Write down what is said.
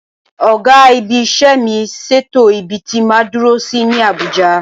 Ọ̀gá-ibi-iṣẹ́ mi ṣètò ibi tí máa dúró sí ní Àbújá.